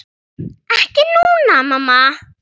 Ekki núna, mamma.